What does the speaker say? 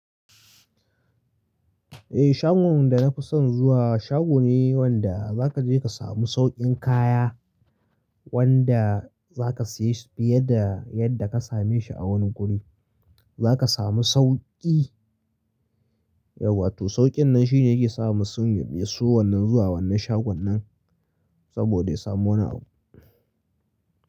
Eh shagon da na fi son zuwa shago ne wanda za ka je ka samu sauƙin kaya wanda za ka siye fiye da yadda ka same shi a wani guri. Za ka samu sauƙi, yauwa toh sauƙin nan shi ne yake sa masu son wannan zuwa wannan shagon nan saboda ya samu wani abu.